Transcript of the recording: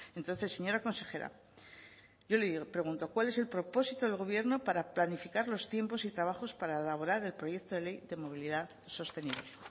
entonces señora consejera yo le pregunto cuál es el propósito del gobierno para planificar los tiempos y trabajos para elaborar el proyecto de ley de movilidad sostenible